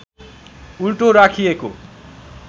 उल्टो राखिएको